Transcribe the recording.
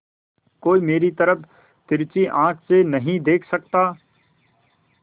कोई मेरी तरफ तिरछी आँख से नहीं देख सकता